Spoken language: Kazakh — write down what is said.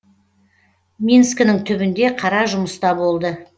минскінің түбінде қара жұмыста болды